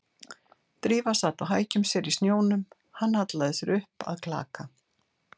Drífa sat á hækjum sér í snjónum, hann hallaði sér upp að klaka